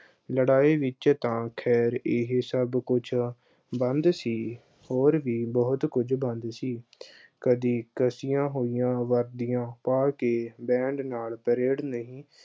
ਲੜਾਈ ਵਿੱਚ ਤਾਂ ਖੈਰ ਇਹੇ ਸਭ ਕੁੱਝ ਬੰਦ ਸੀ, ਹੋਰ ਵੀ ਬਹੁਤ ਕੁਝ ਬੰਦ ਸੀ ਕਦੀ ਕੱਸਿਆਂ ਹੋਈਆਂ ਵਰਦੀਆਂ ਪਾ ਕੇ band ਨਾਲ parade ਨਹੀਂ